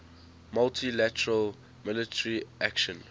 multi lateral military action